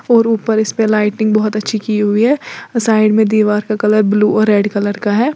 और ऊपर इस पे लाइटिंग बहुत अच्छी की हुई है साइड में दीवार का कलर ब्लू और रेड कलर का है।